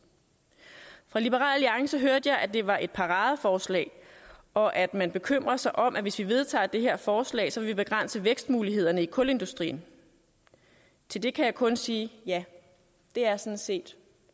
fra liberal alliances side hørte jeg at det var et paradeforslag og at man bekymrer sig om at hvis vi vedtager det her forslag vil vi begrænse vækstmulighederne i kulindustrien til det kan jeg kun sige ja det er sådan set